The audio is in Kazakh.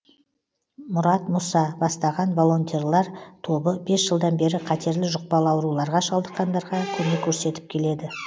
мұрат мұса бастаған волонтерлар тобы бес жылдан бері қатерлі жұқпалы ауруларға шалдыққандарға көмек көрсетіп келеді